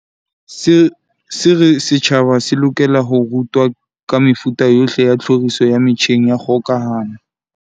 se re setjhaba se lokela ho rutwa ka mefuta yohle ya tlhoriso ya metjheng ya kgokahano.